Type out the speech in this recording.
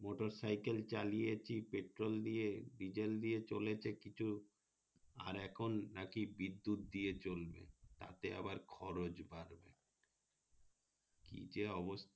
motorcycle চালিয়েছি petrol দিয়ে diesel দিয়ে চলেছে কিছু আর এখন নাকি বিদ্যুৎ দিয়ে চলবে তাতে আবার খরচ বাড়বে কি যে অবস্থা